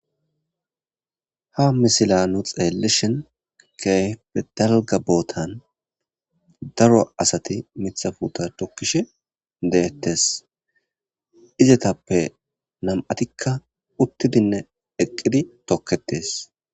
Ha misilanu xeellishin keyfetalga bootan daro asati mithafuta thokkishe deettes izetappe nam'atikka uttidinne eqqidi tokketes.